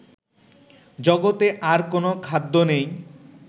জগতে আর কোনও খাদ্য নেই